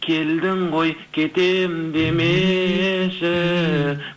келдің ғой кетем демеші